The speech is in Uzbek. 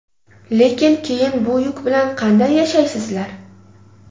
Lekin keyin bu yuk bilan qanday yashaysizlar?”.